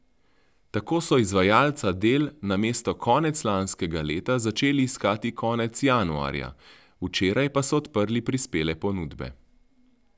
Tako so izvajalca del namesto konec lanskega leta začeli iskati konec januarja, včeraj pa so odprli prispele ponudbe.